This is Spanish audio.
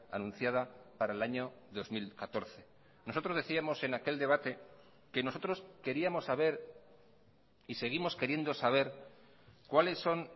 anunciada para el año dos mil catorce nosotros decíamos en aquel debate que nosotros queríamos saber y seguimos queriendo saber cuáles son